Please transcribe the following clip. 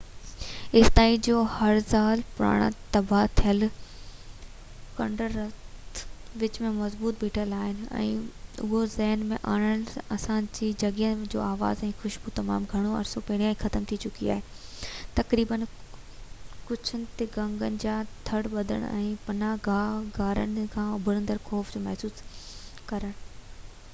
ايستائين جو هزار سال پراڻا تباهه ٿيل کنڊرات وچ ۾ مضبوط بيٺل آهن اهو ذهڻ ۾ آڻڻ آسان آهي ته جنگين جا آواز ۽ خوشبو تمام گهڻو عرصو پهريان ختم ٿي چڪي آهي تقريباً ڪڇن تي کنگن جا تڙ ٻڌڻ ۽ پناهه گاهه غارن کان اڀرندڙ خوف کي محسوس ڪرڻ